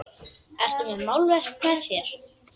Ertu með málverk með þér?